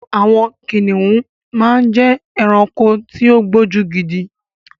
Àwọn kìnnìún máa ń jẹ́ ẹranko tí ó gbójú gidi.